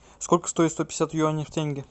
сколько стоит сто пятьдесят юаней в тенге